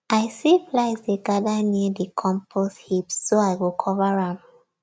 i see flies dey gather near the compost heap so i go cover am